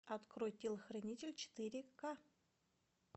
открой телохранитель четыре ка